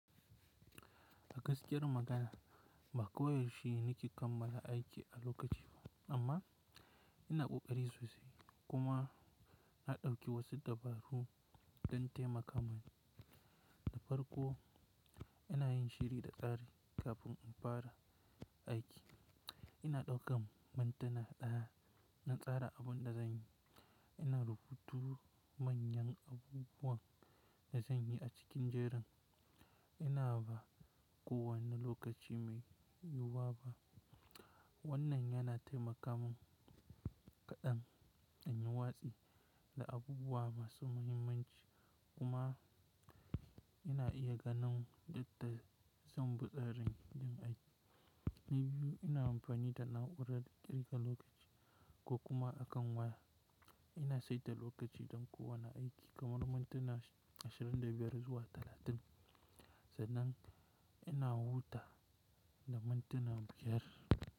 A gaskiyar magana ba kowa ya shenne ke kammala aiki a lokaci ba amma ina ƙoƙari sosai kuma na ɗauki wasu dabaru don taimaka mani. Da farko ina yin shiri da tsari kafin in fara aiki. Ina ɗaukan mintuna ɗaya na tsara abun da zanyi. Ina rubutu manyan abubuwan da zanyi a cikin jerin. Ina ba kowane lokaci mai yiwuwa ba. Wannan yana taimaka min kaɗan in yi watsi da abubuwa masu muhimmanci kuma ina iya ganin yadda zan bi tsari yin aiki. Ni biyu ina amfani da na'urar ƙirga lokaci ko kuma a kan waya. Ina saita lokaci don kowane aiki kamar mantena ashirin da biyar zuwa talatin, sannan ina wuta da mantena biyar.